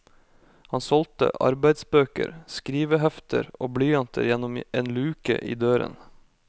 Han solgte arbeidsbøker, skrivehefter og blyanter gjennom en luke i døren.